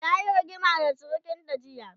tayi rigima da sirikanta jiya